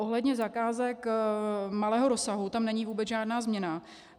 Ohledně zakázek malého rozsahu tam není vůbec žádná změna.